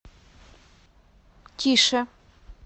тише